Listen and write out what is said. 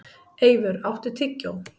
Eivör, áttu tyggjó?